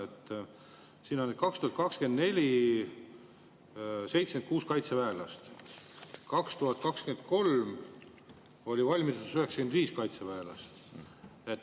Siin on 2024 on 76 kaitseväelast, 2023 oli valmiduses 95 kaitseväelast.